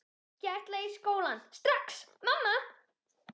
Ég ætla ekki í skólann strax, mamma!